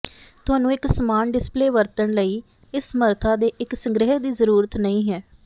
ਤੁਹਾਨੂੰ ਇੱਕ ਸਮਾਨ ਡਿਸਪਲੇਅ ਵਰਤਣ ਲਈ ਇਸ ਸਮਰੱਥਾ ਦੇ ਇੱਕ ਸੰਗ੍ਰਹਿ ਦੀ ਜ਼ਰੂਰਤ ਨਹੀਂ ਹੈ